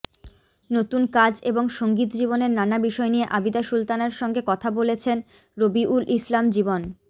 নতুন কাজ এবং সংগীতজীবনের নানা বিষয় নিয়ে আবিদা সুলতানার সঙ্গে কথা বলেছেন রবিউল ইসলাম জীবন